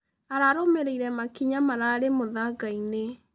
Ararũmĩrĩĩre makĩnya mararĩ mũthangaĩnĩ.